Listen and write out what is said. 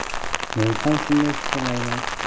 Men ham shunday fikrlayman.